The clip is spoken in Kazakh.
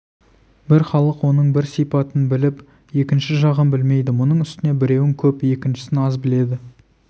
бір халық оның бір сипатын біліп екінші жағын білмейді мұның үстіне біреуін көп екіншісін аз біледі